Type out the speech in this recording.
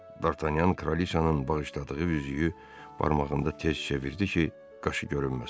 Dartanyan kraliçanın bağışladığı üzüyü barmağında tez çevirdi ki, qaşı görünməsin.